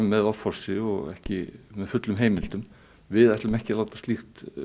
með offorsi og ekki með fullum heimildum við ætlum ekki að láta slíkt